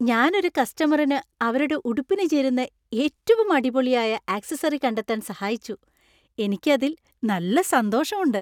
ഞാൻ ഒരു കസ്റ്റമറിനു അവരുടെ ഉടുപ്പിനു ചേരുന്ന ഏറ്റവും അടിപൊളിയായ ആക്സസറി കണ്ടെത്താൻ സഹായിച്ചു, എനിക്ക് അതിൽ നല്ല സന്തോഷമുണ്ട്.